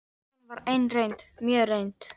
Og síðan var ein reynd, mjög reynd.